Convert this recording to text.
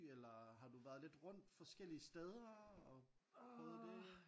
Eller har du været lidt rundt forskellige steder og prøvet det?